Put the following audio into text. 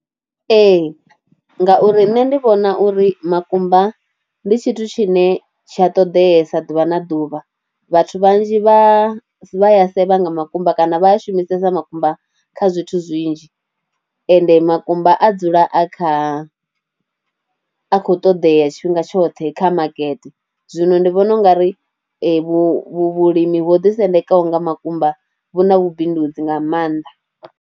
Ee ngauri nne ndi vhona uri makumba ndi tshithu tshine tshi a ṱoḓesa ḓuvha na ḓuvha vhathu vhanzhi vha vha a sevha nga makumba kana vha shumisesa makumba kha zwithu zwinzhi ende makumba a dzula a kha, a khou ṱoḓea tshifhinga tshoṱhe kha makete zwino ndi vhona u nga ri vhulimi ho ḓisendekaho nga makumba hu na vhubindudzi nga maanḓa.